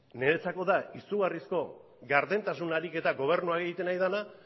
niretzako da izugarrizko gardentasun ariketa gobernua egiten ari dena